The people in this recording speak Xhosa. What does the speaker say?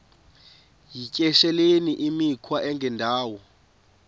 yityesheleni imikhwa engendawo